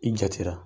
I jatira